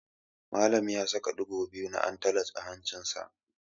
Malam ya saka ɗigo biyu na antalaj a hancinsa.